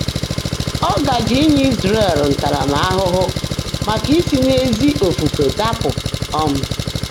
Ọ́ gáàjé ínyé Ị́zràẹ̀l ntárámahụ́hụ́ màká ísí n’ézí ófùfé dàpụ́. um